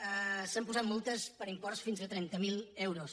s’han posat mul·tes per imports de fins a trenta miler euros